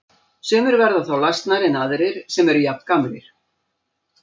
Sumir verða þá lasnari en aðrir sem eru jafngamlir.